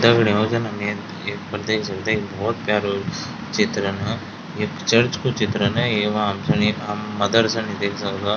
दगडियों जन हम ये ये पर देख सकदा ये बहौत प्यारु चित्रण ये चर्च कु चित्रण येमा हमसे नी हम मदरसा नी देख सकदा।